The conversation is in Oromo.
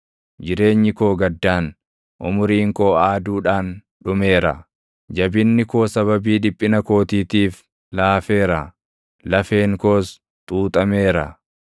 Jireenyi koo gaddaan, umuriin koo aaduudhaan dhumeera; jabinni koo sababii dhiphina kootiitiif laafeera; lafeen koos xuuxameera.